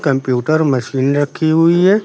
Computer machine रखी हुई है।